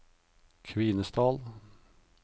Kvinesdal